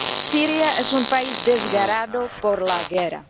Siria es un país desgarrado por la guerra